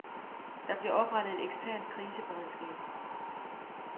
Der bliver oprettet et eksternt kriseberedskab.